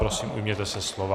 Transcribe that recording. Prosím ujměte se slova.